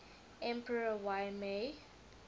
emperor y mei